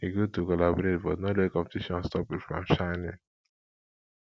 e good to collaborate but no let competition stop you from shining